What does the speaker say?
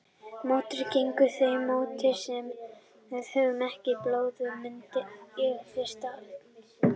Mótefni gegn þeim mótefnavaka sem við höfum ekki í blóði myndast á fyrsta aldursári.